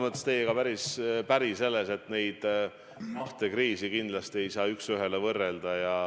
Ma olen teiega päris päri, et neid kahte kriisi kindlasti ei saa üks ühele võrrelda.